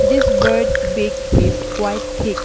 This bird's beak is quite thick.